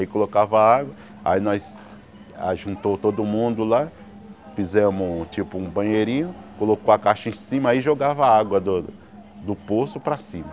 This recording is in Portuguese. Aí colocava a água, aí nós juntou todo mundo lá, fizemos tipo um banheirinho, colocou a caixa em cima sí jogava a água do poço para cima.